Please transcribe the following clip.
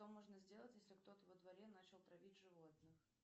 что можно сделать если кто то во дворе начал травить животных